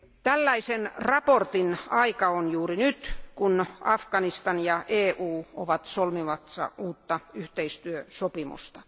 Tällaisen raportin aika on juuri nyt, kun Afganistan ja EU ovat solmimassa uutta yhteistyösopimusta.